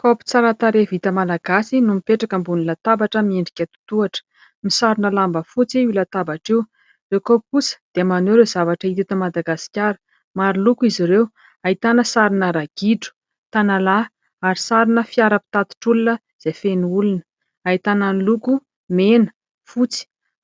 Kaopy tsara tarehy vita malagasy no mipetraka ambonina latabatra miendrika totohatra. Misarona lamba fotsy io latabatra io, ireo kaopy kosa dia maneho ireo zavatra hita eto Madagasikara. Maro loko izy ireo ahitana sarina ragidro, tanalahy ary sarina fiara mpitatitra olona izay feno olona, ahitana ny loko mena fotsy